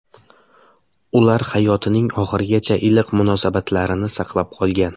Ular hayotining oxirigacha iliq munosabatlarini saqlab qolgan.